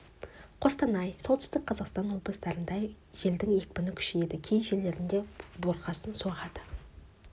қостанай солтүстік қазақстан облыстарында желдін екпіні күшейеді кей жерлерінде бұрқасын соғады қарағанды облысының кей жерлерінде тұман